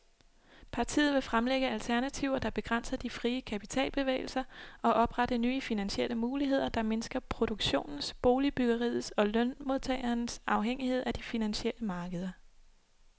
Partiet vil fremlægge alternativer, der begrænser de frie kapitalbevægelser, og oprette nye finansielle muligheder, der mindsker produktionens, boligbyggeriets og lønmodtagernes afhængighed af de finansielle markeder.